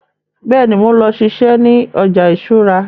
Bẹ́ẹ̀ni, mo ń lọ siṣẹ́ ní ọjà ìṣúra